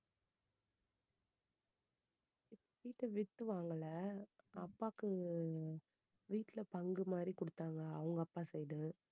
வீட்ட வித்து வாங்கல அப்பாக்கு வீட்டுல பங்கு மாதிரி கொடுத்தாங்க அவங்க அப்பா side உ